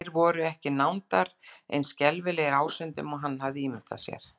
Þeir voru ekki nándar eins skelfilegir ásýndum og hann hafði ímyndað sér.